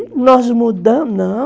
Aí nós mudamos, não...